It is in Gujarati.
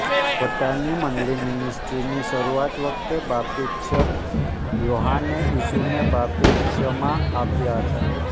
પોતાની મંડળીમિનિસ્ટ્રીની શરૂઆત વખતે બાપ્તિસ્ત યોહાને ઈસુને બાપ્તિસ્મા આપ્યા હતા